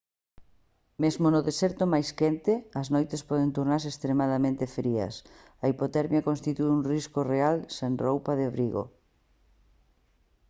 mesmo no deserto máis quente as noites poden tornarse extremadamente frías a hipotermia constitúe un risco real sen roupa de abrigo